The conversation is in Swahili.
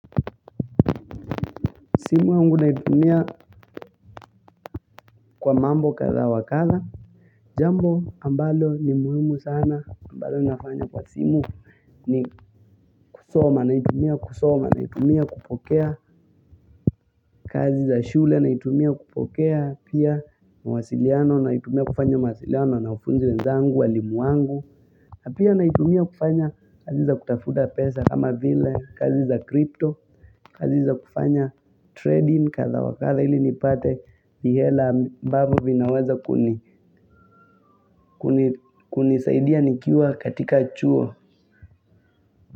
Simu yangu naitumia kwa mambo kadha wakadha. Jambo ambalo ni muhimu sana. Ambalo ninafanya kwa simu ni kusoma. Naitumia kusoma. Naitumia kupokea kazi za shule. Naitumia kupokea pia mawasiliano. Naitumia kufanya mwasiliano na wanafunzi wezangu walimu wangu. Apia naitumia kufanya kazi za kutafuta pesa. Kama vile kazi za kripto. Kazi za kufanya trading katha wakatha. Ili nipate mihela ambavovinaweza kuni kunisaidia nikiwa katika chuo.